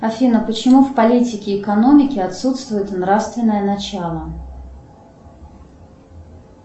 афина почему в политике и экономике отсутствует нравственное начало